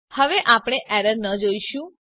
હવે આપણે એરર ન જોઈશું